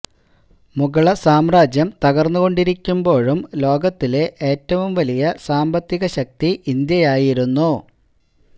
മുഗിള സാമ്രാജ്യം തകര്ന്നുകൊണ്ടിരിക്കുമ്പോഴും ലോകത്തിലെ ഏറ്റവും വലിയ സാമ്പത്തിക ശക്തി ഇന്ത്യയായിരുന്നു